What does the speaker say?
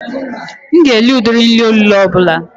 M ga-eri ụdị nri olulo ọ bụla